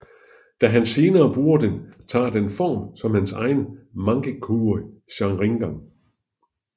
Da han senere bruger den tager den form som hans egen Mangekyo Sharingan